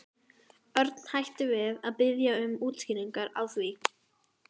Örn hætti við að biðja um útskýringar á því.